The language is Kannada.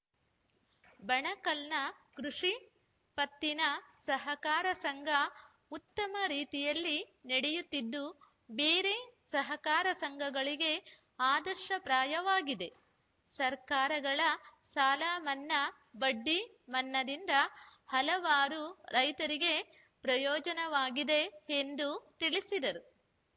ಬಣಕಲ್‌ನ ಕೃಷಿ ಪತ್ತಿನ ಸಹಕಾರ ಸಂಘ ಉತ್ತಮ ರೀತಿಯಲ್ಲಿ ನಡೆಯುತ್ತಿದ್ದು ಬೇರೆ ಸಹಕಾರ ಸಂಘಗಳಿಗೆ ಆದರ್ಶ ಪ್ರಾಯವಾಗಿದೆ ಸರ್ಕಾರಗಳ ಸಾಲ ಮನ್ನಾ ಬಡ್ಡಿ ಮನ್ನಾದಿಂದ ಹಲವಾರು ರೈತರಿಗೆ ಪ್ರಯೋಜನವಾಗಿದೆ ಎಂದು ತಿಳಿಸಿದರು